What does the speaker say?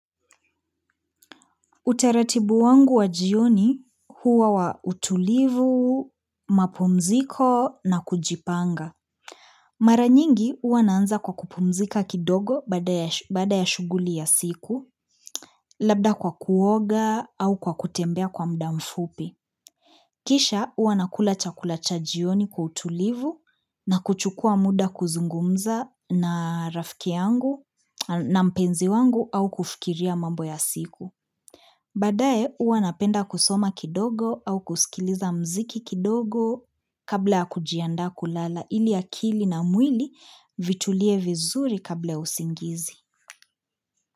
Utaratibu wangu wa jioni huwa wa utulivu, mapumziko na kujipanga. Mara nyingi huwa naanza kwa kupumzika kidogo baada ya shughuli ya siku, labda kwa kuoga au kwa kutembea kwa muda mfupi. Kisha huwa nakula chakula cha jioni kwa utulivu na kuchukua muda kuzungumza na rafiki yangu na mpenzi wangu au kufikiria mambo ya siku. Baadae huwa napenda kusoma kidogo au kusikiliza mziki kidogo kabla ya kujiandaa kulala ili akili na mwili vitulie vizuri kabla usingizi.